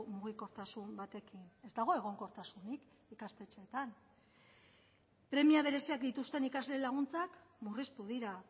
mugikortasun batekin ez dago egonkortasunik ikastetxeetan premia bereziak dituzten ikasle laguntzak murriztu dira